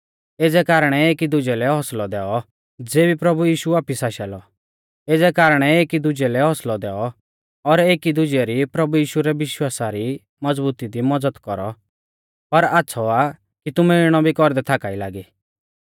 एज़ै कारणै एकी दुजै लै हौसलौ दैऔ और एकी दुजै री प्रभु यीशु रै विश्वासा री मज़बुती दी मज़द कौरौ पर आच़्छ़ौ आ कि तुमै इणौ भी कौरदै थाका ई लागी